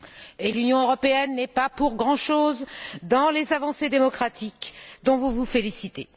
Et l'Union européenne n'est pas pour grand chose dans les avancées démocratiques dont vous vous félicitez.